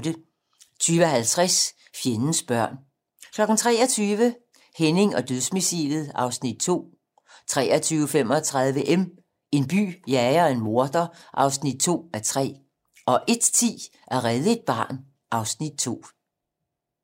20:50: Fjendens børn 23:00: Henning og dødsmissilet (Afs. 2) 23:35: M - En by jager en morder (2:3) 01:10: At redde et barn (Afs. 2)